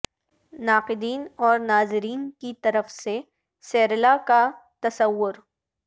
ناقدین اور ناظرین کی طرف سے سیرلا کا تصور